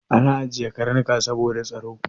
Ana ajiye Karnuka saboda tsaro.